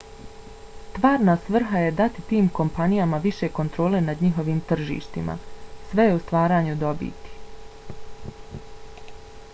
stvarna svrha je dati tim kompanijama više kontrole nad njihovim tržištima - sve je u stvaranju dobiti